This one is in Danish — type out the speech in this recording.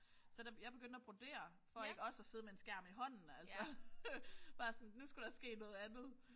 Så der jeg begyndte at brodere for ikke også at sidde med en skærm i hånden altså. Bare sådan nu skulle der ske noget andet